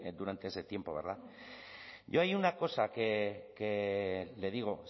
durante ese tiempo verdad yo hay una cosa que le digo